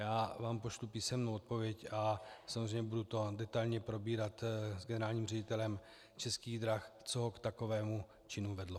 Já vám pošlu příjemnou odpověď a samozřejmě budu to detailně probírat s generálním ředitelem Českých drah, co ho k takovému činu vedlo.